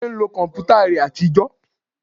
Délé ń lo kọ̀mpútà rẹ àtijọ́